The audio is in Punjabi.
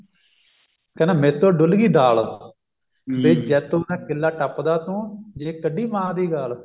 ਕਹਿੰਦਾ ਮੈਂ ਤੋਂ ਡੁੱਲ ਗਈ ਦਾਲ ਵੇ ਜੈਤੋਂ ਦਾ ਕਿਲ੍ਹਾ ਟਪਾ ਦੂਂ ਜੇ ਕੱਢੀ ਮਾਂ ਦੀ ਗਾਲ